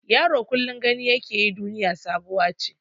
Yaro kullum gani yake duniya sabuwa ce.